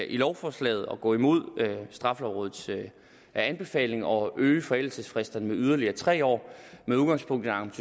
i lovforslaget at gå imod straffelovrådets anbefaling og øge forældelsesfristerne med yderligere tre år med udgangspunkt